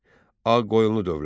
Ağqoyunlu dövləti.